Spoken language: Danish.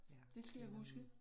Ja den er